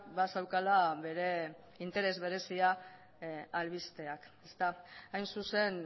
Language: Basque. bazeukala bere interes berezia albisteak hain zuzen